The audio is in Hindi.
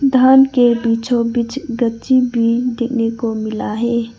धान के बीचों बीच गंजी भी देखने को मिला है।